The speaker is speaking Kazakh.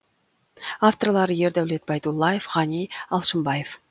авторлары ердәулет байдуллаев ғани алшынбаев